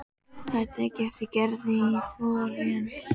Það er tekið eftir Gerði í Flórens.